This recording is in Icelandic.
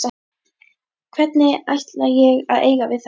Hvernig ætla ég að eiga við þetta?